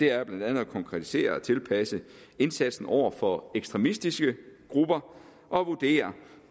er blandt andet at konkretisere og tilpasse indsatsen over for ekstremistiske grupper og vurdere